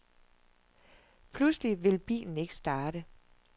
Pludselig vil bilen ikke starte.